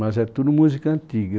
Mas é tudo música antiga.